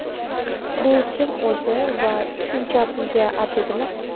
Bu kim o‘zi va shuncha pulga arziydimi?